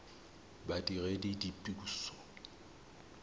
badiredipuso